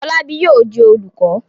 Fọlábí yóò di olùkọ́?